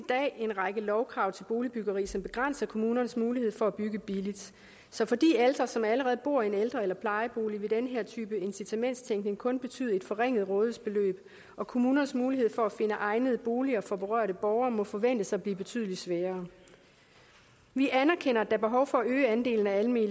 en række lovkrav til boligbyggeri som begrænser kommunernes mulighed for at bygge billigt så for de ældre som allerede bor i en ældre eller plejebolig vil den her incitamentstænkning kun betyde et forringet rådighedsbeløb og kommunernes mulighed for at finde egnede boliger for berørte borgere må forventes at blive betydelig sværere vi anerkender at er behov for at øge andelen af almene